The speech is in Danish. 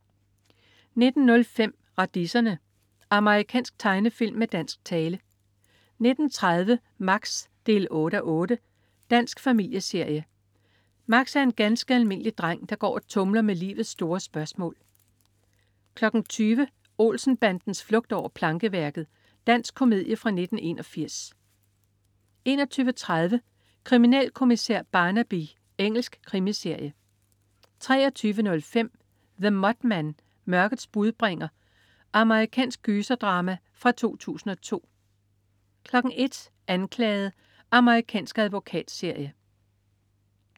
19.05 Radiserne. Amerikansk tegnefilm med dansk tale 19.30 Max 8:8. Dansk familieserie. Max er en ganske almindelig dreng, der går og tumler med livets store spørgsmål 20.00 Olsen-bandens flugt over plankeværket. Dansk komedie fra 1981 21.30 Kriminalkommissær Barnaby. Engelsk krimiserie 23.05 The Mothman. Mørkets budbringer. Amerikansk gyserdrama fra 2002 01.00 Anklaget. Amerikansk advokatserie